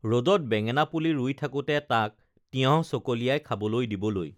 ৰদত বেঙেনা পুলি ৰুই থাকোঁতে তাক তিয়ঁহ চকলিয়াই খাবলৈ দিবলৈ